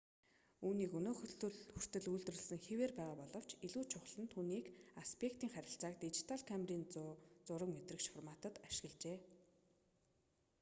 үүнийг өнөө хүртэл үйлдвэрлэсэн хэвээр байгаа боловч илүү чухал нь түүний аспектийн харьцааг дижитал камерын зураг мэдрэгч форматад ашиглажээ